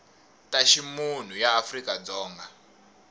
ta ximunhu ya afrika dzonga